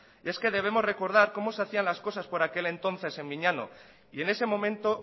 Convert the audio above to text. y es que debemos recordar cómo se hacían las cosas por aquel entonces en miñano y en ese momento